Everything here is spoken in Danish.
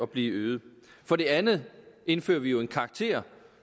blive øget for det andet indfører vi jo en karakter